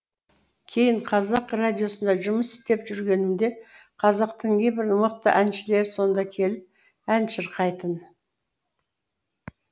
кейін қазақ радиосында жұмыс істеп жүргенімде қазақтың небір мықты әншілері сонда келіп ән шырқайтын